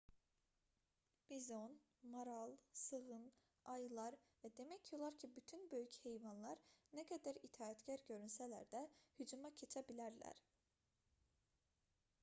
bizon maral sığın ayılar və demək olar ki bütün böyük hevanlar nə qədər itaətkar görünsələr də hücuma keçə bilərlər